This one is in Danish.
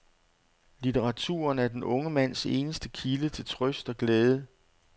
Litteraturen er den unge mands eneste kilde til trøst og glæde.